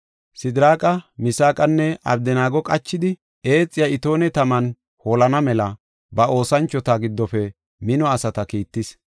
Sidiraaqa, Misaaqanne Abdanaago qachidi, eexiya itoone taman holana mela, ba olanchota giddofe mino asata kiittis.